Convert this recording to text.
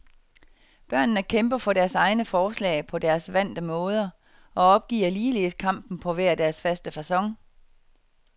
Børnene kæmper for deres egne forslag på deres vante måder, og opgiver ligeledes kampen på hver deres faste facon.